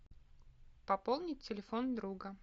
пополнить телефон друга